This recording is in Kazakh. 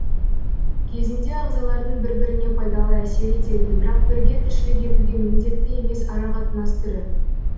кезінде ағзалардың бір біріне пайдалы әсер ететін бірақ бірге тіршілік етуге міндетті емес арақатынас түрі